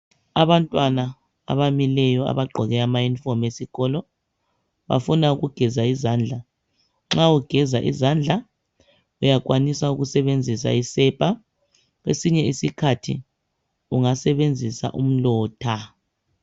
Abantwana abamileyo abagqoke ama "uniform" esikolo bafuna ukugeza izandla, nxa ugeza izandla uyakwanisa ukusebenzisa isepa kwesinye isikhathi ungasebenzisa umlotha.